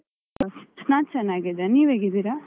ನಾನ್ ಚೆನ್ನಾಗಿದ್ದೇನೆ, ನೀವ್ ಹೇಗಿದ್ದೀರಾ?